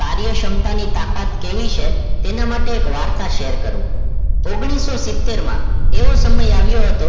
કાર્યક્ષમતાની તાકત કેવી છે એ માટે એક વાર્તા share કરું ઓગણીસો સિત્તેર માં એવો સમય આવ્યો હતો